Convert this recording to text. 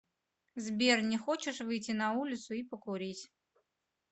сбер не хочешь выйти на улицу и покурить